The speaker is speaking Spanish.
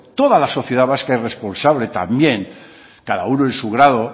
toda la sociedad vasca es responsable también cada uno en su grado